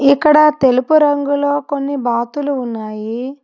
ఇక్కడ తెలుపు రంగులో కొన్ని బాతులు ఉన్నాయి.